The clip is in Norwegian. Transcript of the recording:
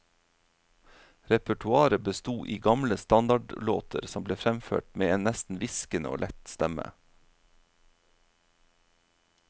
Repertoaret besto i gamle standardlåter som ble fremført med en nesten hviskende og lett stemme.